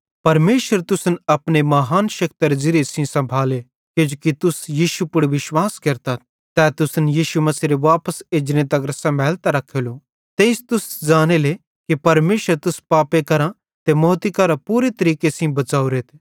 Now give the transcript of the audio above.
परमेशर तुसन अपने महान शेक्तरे ज़िरिये सेइं सम्भाले किजोकि तुस यीशु पुड़ विश्वास केरतथ तै तुसन यीशु मसीहेरे वापस एजने तगर सम्भैलतां रखेलो तेइस तुस ज़ानेले कि परमेशरे तुस पापे करां ते मौती करां पूरे तरीके सेइं बच़ावरेथ